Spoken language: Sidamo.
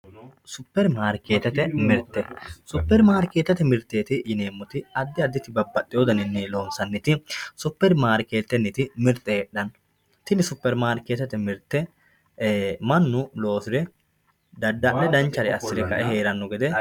superimaarikeettete mirte superimaarikeettete mirteeti yineemmoti addi additi babbaxxewoo daninni loonsanniti superimaarikeettete mirte heedhanno tini superimaarikeettete mirte mannu loosire dadda'le danchare assire ka"e heeranno gede